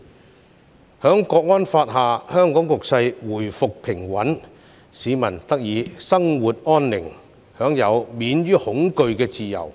在《香港國安法》下，香港局勢回復平穩，市民得以生活安寧，享有免於恐懼的自由。